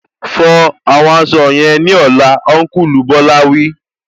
Fọ àwọn aṣọ yẹn ní ọlá, Ọnkulu Bola wí